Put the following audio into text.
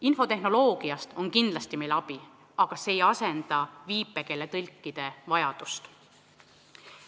Infotehnoloogiast on kindlasti abi, aga see ei asenda viipekeeletõlkide teenust.